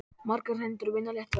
Margar hendur vinna létt verk!